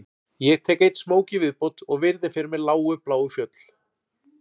Ég tek einn smók í viðbót og virði fyrir mér lágu bláu fjöll